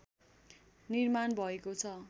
निर्माण भएको छ